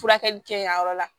Furakɛli kɛ yan yɔrɔ la